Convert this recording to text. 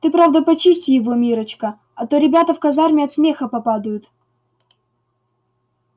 ты правда почисти его миррочка а то ребята в казарме от смеха попадают